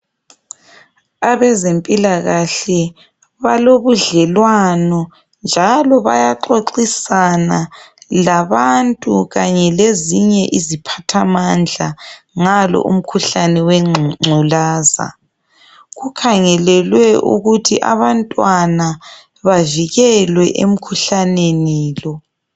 Abezempilakahle balobudlelwano njalo bayaxoxisana labantu kanye lezinye iziphathamandla ngalo umkhuhlane wengculaza. Okukhangelelwe ukuthi abantwana bavikelwe emkhuhlaneni lo.